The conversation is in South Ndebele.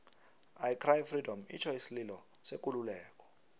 i cry freedom itjho isililo sekululeko